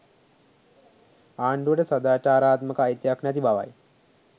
ආණ්ඩුවට සදාචාරාත්මක අයිතියක් නැති බවයි